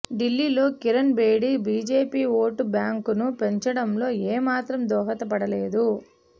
ఢిల్లీలో Kiran Bedi BJP vote బ్యాంకును పెంచడంలో ఏ మాత్రం దోహదపడ లేదు